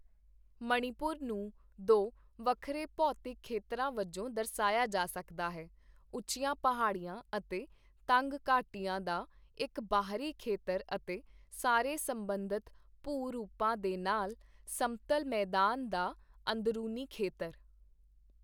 ਮਣੀਪੁਰ ਨੂੰ ਦੋ ਵੱਖਰੇ ਭੌਤਿਕ ਖੇਤਰਾਂ ਵਜੋਂ ਦਰਸਾਇਆ ਜਾ ਸਕਦਾ ਹੈ, ਉੱਚੀਆਂ ਪਹਾੜੀਆਂ ਅਤੇ ਤੰਗ ਘਾਟੀਆਂ ਦਾ ਇੱਕ ਬਾਹਰੀ ਖੇਤਰ ਅਤੇ ਸਾਰੇ ਸਬੰਧਤ ਭੂ ਰੂਪਾਂ ਦੇ ਨਾਲ ਸਮਤਲ ਮੈਦਾਨ ਦਾ ਅੰਦਰੂਨੀ ਖੇਤਰ